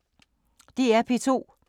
DR P2